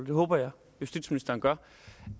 det håber jeg justitsministeren gør